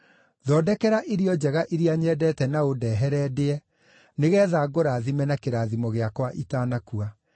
Thondekera irio njega iria nyendete na ũndehere ndĩe, nĩgeetha ngũrathime na kĩrathimo gĩakwa itanakua.”